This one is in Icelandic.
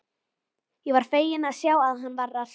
Ég var feginn að sjá að hann var að hressast!